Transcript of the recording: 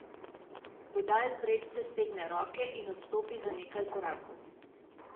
Budal predse stegne roke in odstopi za nekaj korakov.